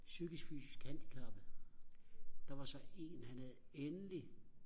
psykisk fysisk handicappede der var så en han havde endelig